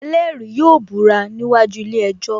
Ẹlẹ́rìí yóò búra níwájú ilé ejò